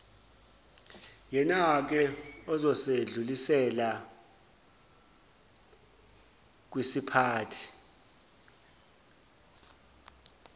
yenake ozosedlulisela wkisiphathi